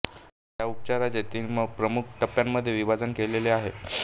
ह्या उपचाराचे तीन प्रमुख टप्प्यांमध्ये विभाजन केलेले आहे